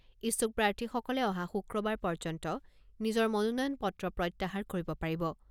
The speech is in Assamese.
ইচ্ছুক প্ৰাৰ্থীসকলে অহা শুক্ৰবাৰ পৰ্যন্ত নিজৰ মনোনয়ন পত্ৰ প্ৰত্যাহাৰ কৰিব পাৰিব।